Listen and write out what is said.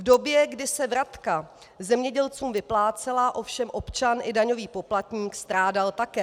V době, kdy se vratka zemědělcům vyplácela, ovšem občan i daňový poplatník strádal také.